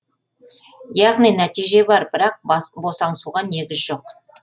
яғни нәтиже бар бірақ босаңсуға негіз жоқ